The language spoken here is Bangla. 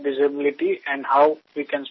আমি একজন দৃষ্টিহীন শিক্ষক